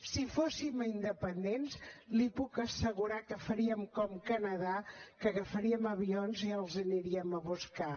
si fóssim independents li puc assegurar que faríem com el canadà que agafaríem avions i els aniríem a buscar